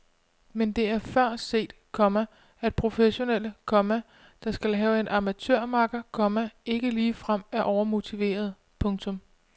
Men det er før set, komma at professionelle, komma der skal have en amatørmakker, komma ikke ligefrem er overmotiverede. punktum